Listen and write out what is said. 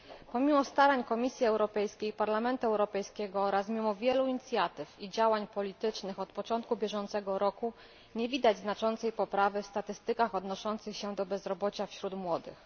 Pomimo starań Komisji Europejskiej i Parlamentu Europejskiego oraz mimo wielu inicjatyw i działań politycznych podjętych od początku bieżącego roku, nie widać znaczącej poprawy w statystykach odnoszących się do bezrobocia wśród młodych.